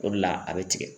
O de la a bɛ tigɛ